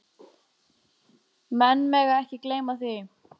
Menn mega ekki gleyma því.